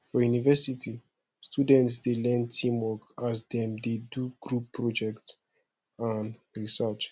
for university students dey learn teamwork as dem dey do group project and research